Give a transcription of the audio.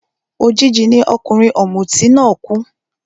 Òjijì ni ọkùnrin ọ̀mùtí náà kú